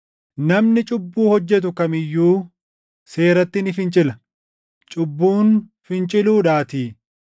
Namni cubbuu hojjetu kam iyyuu seeratti ni fincila; cubbuun finciluudhaatii.